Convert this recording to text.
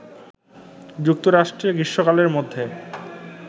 যুক্তরাষ্ট্রে গ্রীষ্মকালের মধ্যে